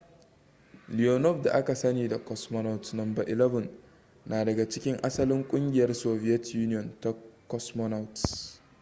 leonov da aka sani da cosmonaut no 11 na daga cikin asalin ƙungiyar soviet union ta cosmonauts